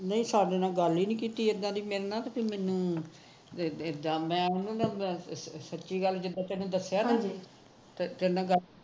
ਨਹੀ ਸਾਡੇ ਨਾਲ ਗੱਲ ਹੀ ਨਹੀ ਕੀਤੀ ਇੱਦਾ ਦੀ ਮੇਰੇ ਨਾਲ ਫੇਰ ਮੈਨੂੰ ਇੱਦਾ ਮੈ ਹੁੰਦੀ ਸੱਚੀ ਗੱਲ ਜਿਦਾਂ ਤੈਨੂੰ ਦੱਸਿਆ ਨਾ ਤੇਰੇ ਨਾਲ ਗੱਲ